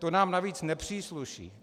To nám navíc nepřísluší.